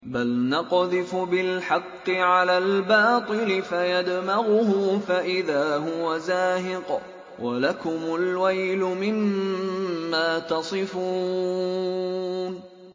بَلْ نَقْذِفُ بِالْحَقِّ عَلَى الْبَاطِلِ فَيَدْمَغُهُ فَإِذَا هُوَ زَاهِقٌ ۚ وَلَكُمُ الْوَيْلُ مِمَّا تَصِفُونَ